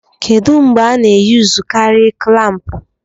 Kedu mgbe a na-eyuzukari klampu?